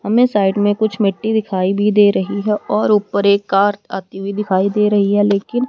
हमे साइड में कुछ मिट्टी दिखाई भी दे रही है और ऊपर एक कार आती हुई दिखाई दे रही है लेकिन--